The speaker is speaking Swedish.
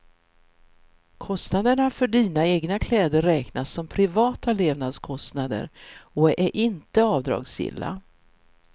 Kostnaderna för dina egna kläder räknas som privata levnadskostnader och är inte avdragsgilla.